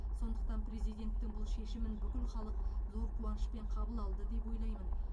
сондықтан президенттің бұл шешімін бүкіл халық зор қуанышпен қабыл алды деп ойлаймын